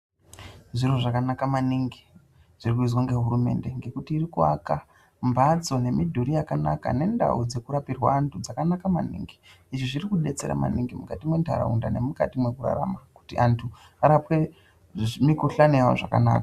Zviro zvakanaka maningi zviri kuizwa nehurumende ngekuti iriku aaka mbatso nemudhuri yakanaka nendau dzeku rapirwa vanhu zvakana maningi izvi zviriku detsera maningi mukati mundaraunda nemukati mekurarama kuti antu arapwe mikuhlani yavo zvakanaka.